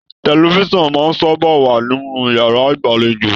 Tẹlifísàn máà n sábà wa nínú yàrá ìgbàlèjo.